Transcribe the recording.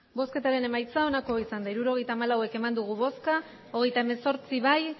hirurogeita hamalau eman dugu bozka hogeita hemezortzi bai